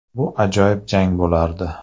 Bu ajoyib jang bo‘lardi.